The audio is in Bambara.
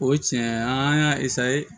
O tiɲɛ an y'a